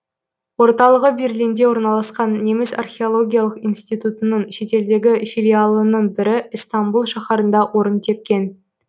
орталығы берлинде орналасқан неміс археологиялық институтының шетелдегі филиалының бірі ыстамбұл шаһарында орын тепкен